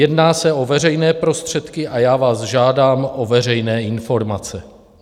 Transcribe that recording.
Jedná se o veřejné prostředky a já vás žádám o veřejné informace.